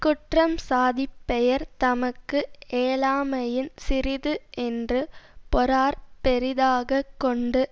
குற்றம் சாதி பெயர் தமக்கு ஏலாமையின் சிறிது என்று பொறார் பெரிதாக கொண்டு